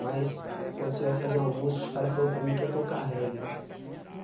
Mas quando você vai fazer uma música, os caras falou para mim que ia tocar reggae.